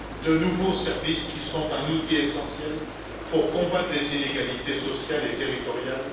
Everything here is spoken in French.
de nouveaux services qui sont les outils essentiels pour combattre les inégalités sociales et territoriales.